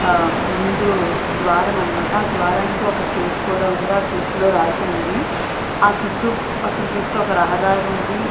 ఆ ముందు ద్వారం అన్నమాట ఆ ద్వారానికి ఒక గేటు కూడా ఉంది. ఆ గేట్ లో రాసి ఉంది. ఆ చుట్టు పక్కన చూస్తే ఒక రహదారి ఉంది.